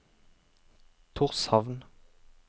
Tórshavn